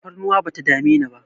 Tafarnuwa bata dame ni ba